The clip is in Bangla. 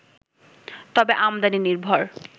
তবে আমদানি নির্ভর